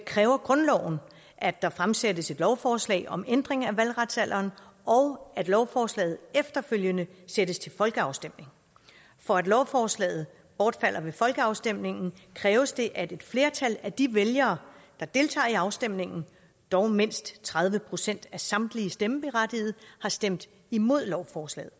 kræver grundloven at der fremsættes et lovforslag om ændring af valgretsalderen og at lovforslaget efterfølgende sættes til folkeafstemning for at lovforslaget bortfalder ved folkeafstemningen kræves det at et flertal af de vælgere der deltager i afstemningen dog mindst tredive procent af samtlige stemmeberettigede har stemt imod lovforslaget